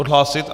Odhlásit?